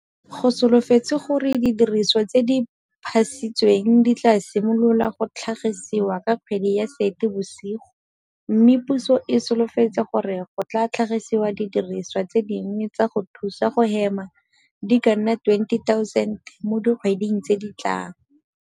Go solofetswe gore didiriswa tse di phasisitsweng di tla simolola go tlhagisiwa ka kgwedi ya Seetebosigo mme puso e solofetse gore go tla tlhagisiwa didirisiwa tse dingwe tsa go thusa go hema di ka nna 20 000 mo dikgweding tse di tlang.